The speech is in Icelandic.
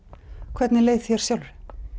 hvernig leið þér sjálfri